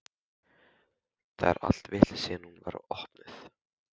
Það er allt vitlaust síðan hún var opnuð.